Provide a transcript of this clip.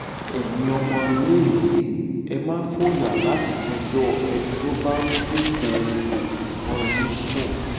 ẹ̀yin ọmọléèwé ẹ má fòyà láti fẹjọ́ ẹni tó bá dúnkookò mọ́ yín sùn